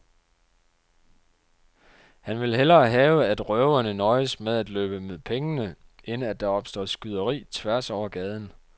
Han vil hellere have, at røverne nøjes med at løbe med pengene, end at der opstår skyderi tværs over gaden.